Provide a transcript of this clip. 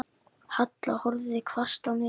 Halla horfði hvasst á mig.